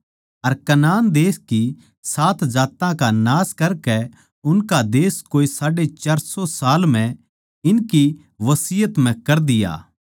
अर Canaan देश की सात जात्तां का नाश करकै उनका देश कोए साढ़े चार सौ साल म्ह इनकी बसियत म्ह कर दिया